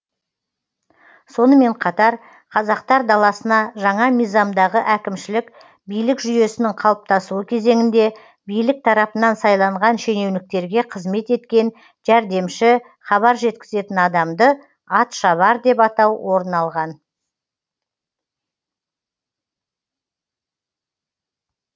сонымен қатар қазақтар даласына жаңа мизамдағы әкімшілік билік жүйесінің қалыптасуы кезеңінде билік тарапынан сайланған шенеуніктерге қызмет еткен жәрдемші хабар жеткізетін адамды атшабар деп атау орын алған